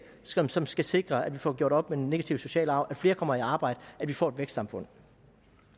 som som skal sikre at vi får gjort op med den negative sociale arv at flere kommer i arbejde at vi får et vækstsamfund